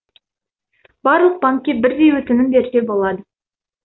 барлық банкке бірдей өтінім берсе болады